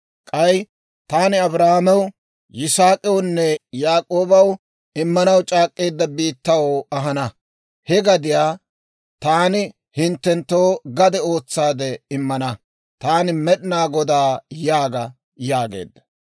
K'ay Taani Abrahaamew, Yisaak'awunne Yaak'oobaw immanaw c'aak'k'eedda biittaw ahana; he gadiyaa taani hinttenttoo gade ootsaade immana; Taani Med'inaa Godaa yaaga› » yaageedda.